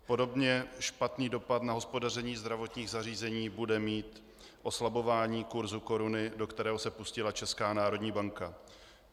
Podobně špatný dopad na hospodaření zdravotních zařízení bude mít oslabování kurzu koruny, do kterého se pustila Česká národní banka.